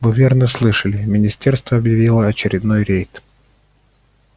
вы верно слышали министерство объявило очередной рейд